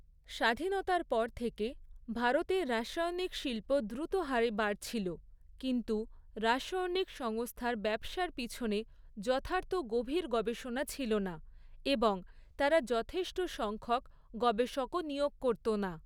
স্বাধীনতার পর থেকে ভারতের রাসায়নিক শিল্প দ্রুত হারে বাড়ছিল, কিন্তু, রাসায়নিক সংস্থার ব্যবসার পিছনে যথার্থ গভীর গবেষণা ছিল না, এবং তারা যথেষ্ট সংখ্যক গবেষকও নিয়োগ করত না।